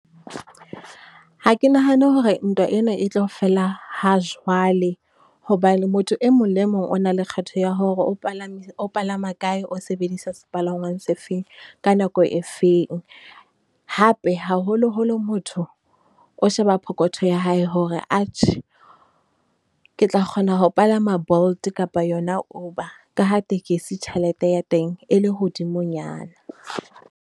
Ha ke nahane hore ntwa ena e tlo fela hajwale, hobane motho e mong le mong o na le kgetho ya hore o palame, o palama kae, o sebedisa sepalangwang se feng, ka nako e feng? Hape, haholoholo motho o sheba phokotho ya hae hore atjhe, ke tla kgona ho palama Bolt kapa yona Uber ka ha tekesi tjhelete ya teng e le hodimonyana.